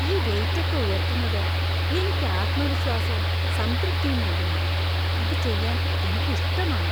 ഈ വെയിറ്റ് ഒക്കെ ഉയർത്തുന്നത് എനിക്ക് ആത്മവിശ്വാസവും സംതൃപ്തിയും നൽകുന്നു. അത് ചെയ്യാൻ എനിക്ക് ഇഷ്ടമാണ്.